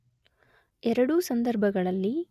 ಎರಡೂ ಸಂದರ್ಭಗಳಲ್ಲಿ